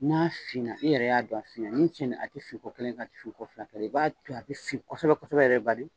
N'a fina i yɛrɛ y'a dɔn a fina ni cɛn a tɛ fin kɔ kelen, a tɛ fin ko fila kɛ, i b'a to yen a bɛ fin kɔsɛbɛ kosɛbɛ yɛrɛ bari.